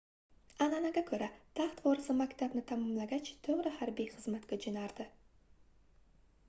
anʼanaga koʻra taxt vorisi maktabni tamomlagach toʻgʻri harbiy xizmatga joʻnardi